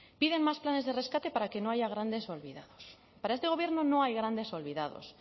piden más planes de rescate para que no haya grandes olvidados para este gobierno no hay grandes olvidados